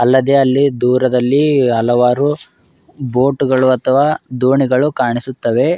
ಅಲ್ಲದೆ ಅಲ್ಲಿ ದೂರದಲ್ಲಿ ಹಲವಾರು ಬೋಟುಗಳು ಅಥವಾ ದೋಣಿಗಳು ಕಾಣಿಸುತ್ತವೆ